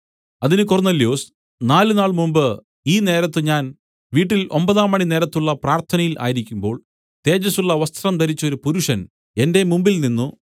അതിന് കൊർന്നൊല്യോസ് നാലുനാൾ മുൻപ് ഈ നേരത്ത് ഞാൻ വീട്ടിൽ ഒമ്പതാംമണി നേരത്തുളള പ്രാർത്ഥനയിൽ ആയിരിക്കുമ്പോൾ തേജസ്സുള്ള വസ്ത്രം ധരിച്ചൊരു പുരുഷൻ എന്റെ മുമ്പിൽനിന്നു